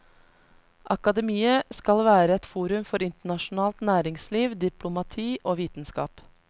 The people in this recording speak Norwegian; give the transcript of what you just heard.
Akademiet skal være et forum for internasjonalt næringsliv, diplomati og vitenskap.